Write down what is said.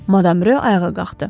Madam rö ayağa qalxdı.